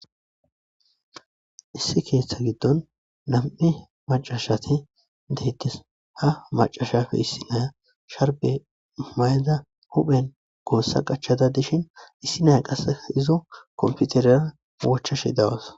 Issi keeththa giddon nam'i macca asati deettis. Ha macca asappe issi naya sharbe mayadda huphphen gossa qachchada dishin issi naya qassi izo kompiteriya bochchasha dawusu.